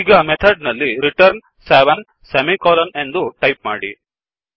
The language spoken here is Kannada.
ಈಗ ಮೆಥಡ್ ನಲ್ಲಿ returnರಿಟರ್ನ್ ಸೆವೆನ್ ಸೆಮಿಕೊಲನ್ ಎಂದು ಟಾಯಿಪ್ ಮಾಡಿ